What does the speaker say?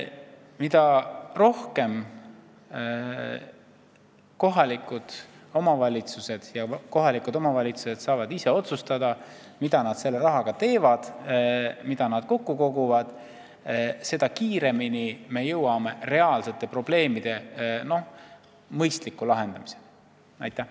Mida rohkem saavad kohalikud omavalitsused ise otsustada, mida nad kokku kogutud rahaga teevad, seda kiiremini me jõuame reaalsete probleemide mõistliku lahendamiseni.